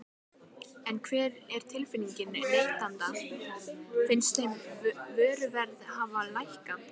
En hver er tilfinningin neytenda, finnst þeim vöruverð hafa lækkað?